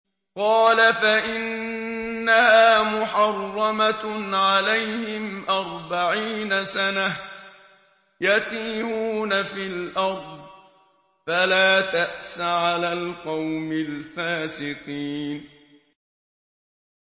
قَالَ فَإِنَّهَا مُحَرَّمَةٌ عَلَيْهِمْ ۛ أَرْبَعِينَ سَنَةً ۛ يَتِيهُونَ فِي الْأَرْضِ ۚ فَلَا تَأْسَ عَلَى الْقَوْمِ الْفَاسِقِينَ